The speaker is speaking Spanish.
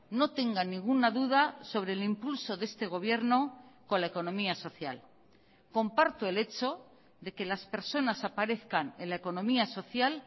no tengan ninguna duda sobre el impulso de este gobierno con la economía social comparto el hecho de que las personas aparezcan en la economía social